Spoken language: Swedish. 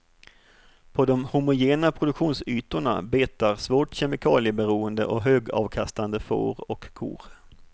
På de homogena produktionsytorna betar svårt kemikalieberoende och högavkastande får och kor.